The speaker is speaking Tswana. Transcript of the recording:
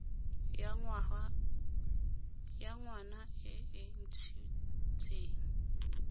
ya ngwana e e ntshitseng